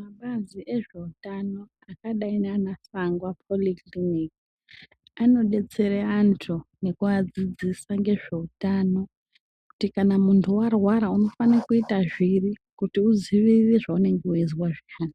Mapazi ezveutano akadai Sangwa polyclinic anodetsera antu ngekuadzidzisa ngezveutano, kuti muntu kana warwara unofana kuita zviri kuti uziye zvaunenge weizwa zvintani.